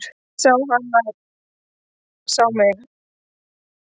Ég sá að hann sá mig.